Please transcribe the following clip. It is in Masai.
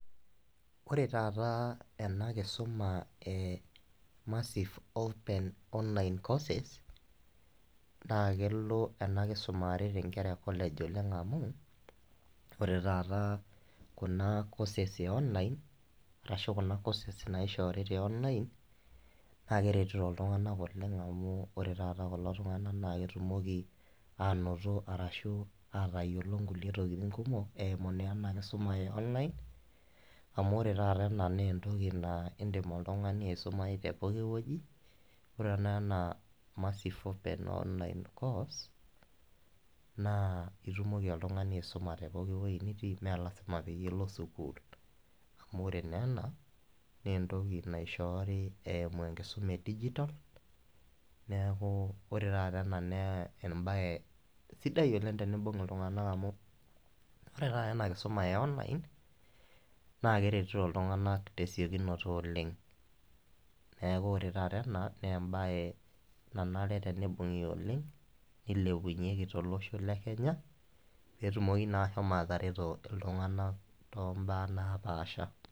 Ore taata enakisuma emassive open online courses naa kelo ena kisuma aret inkera ecollege oleng amu ore taata kuna courses eonline , arashu kuna courses naishoori tionline , naa keretito iltunganak oleng amu ore taata kulo tunganak naa ketumoki anoto arashu atayiolo nkulie tokitin eimu naa ena kisuma eonline amu ore taata ena naa entoki naa indim oltungani aisumayu tepooki wueji, ore tenakata ena massive online course naa itumoki oltungani aisuma tepooki wuei nitii mmee lasima peyie ilo sukuul amu ore naa ena naa entoki naishoori eimu enkisuma edigital neeku ore taata ena naa embae sidai oleng tenibung iltunganak amu kifaa amu ore taata ena kisuma enoline naa keretito iltunganak tesiokinoto oleng , neeku ore taata ena naa embae nanare tenibungi oleng , nilepunyieki tolosho lekenya petumoki naa ashomo atareto iltunganak tom`baa naapasha.